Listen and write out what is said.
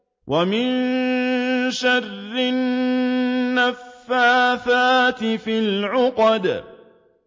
وَمِن شَرِّ النَّفَّاثَاتِ فِي الْعُقَدِ